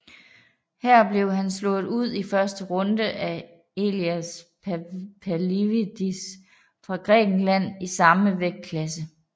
Her blev han slået ud i første runde af Elias Pavlidis fra Grækenland i samme vægtklasse